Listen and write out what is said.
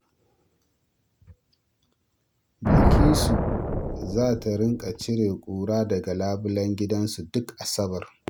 Bilkisu za ta rinƙa cire kura daga labulen gidansu duk Asabar.